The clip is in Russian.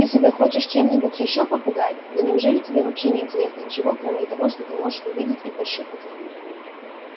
ты себя хочешь чем-нибудь ещё попугать да неужели тебе вообще не интересно ничего кроме того что ты можешь увидеть и пощупать